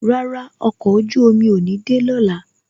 Rárá, ọkọ̀ ojú omi ò ní de lọ́la